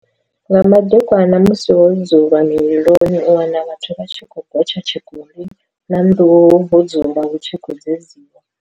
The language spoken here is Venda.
Nga madekwana musi ho dzulwa mililoni u wana vhathu vha tshi khou gotsha tshikoli na nduhu ho dzulwa hu tshi khou dzedziwa.